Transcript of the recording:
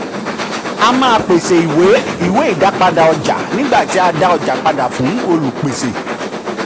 a maa pese iwe iwe idapada ọja nigba ti a da ọja pada fun olupese.